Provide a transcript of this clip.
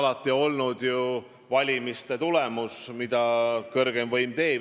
Aga see oli ju valimiste tulemus, seda kõrgeim võim tahtis.